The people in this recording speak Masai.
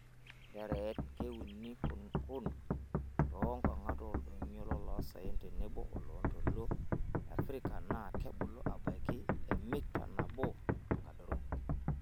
Nterer:keuni kun too nkongat oldonyio llosaen tenebo oloontoluo le Afrika naaa kebulu aabaiki emita nabo tenkadoro.